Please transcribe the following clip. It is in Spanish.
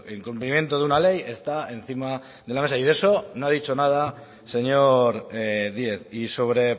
el cumplimiento de una ley está encima de la mesa y de eso no ha dicho nada el señor díez y sobre